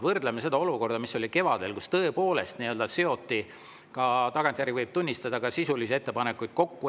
Võrdleme seda olukorraga, mis oli kevadel, kui tõepoolest seoti – tagantjärgi võib tunnistada – ka sisulisi ettepanekuid kokku.